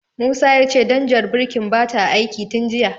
Musa ya ce danjar birkin bata aiki tin jiya.